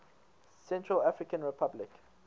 central african republic